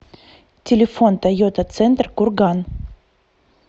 телефон тойота центр курган